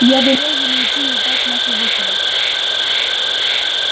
я велел ему идти и ждать нас у выхода